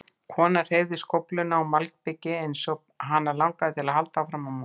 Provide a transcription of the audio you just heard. Konan hreyfði skófluna á malbikinu eins og hana langaði að halda áfram að moka.